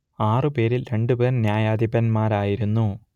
ആറു പേരിൽ രണ്ടുപേർ ന്യായാധിപന്മാരായിരുന്നു